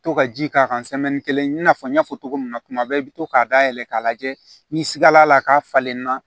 To ka ji k'a kan kelen i n'a fɔ n y'a fɔ cogo min na tuma bɛɛ i bɛ to k'a dayɛlɛ k'a lajɛ ni sigala k'a falenna